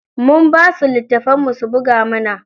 Mun basu littafin mun su buga mana.